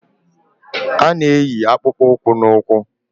A na-eyi akpụkpọụkwụ n'ụkwụ